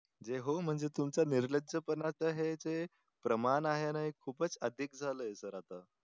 जे हो म्हणजे तुमचं निर्लज पणाच हे ते प्रमाण आहे आहे ना खूपच अधिक झाले SIR आता